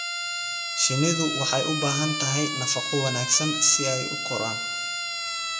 Shinnidu waxay u baahan tahay nafaqo wanaagsan si ay u koraan.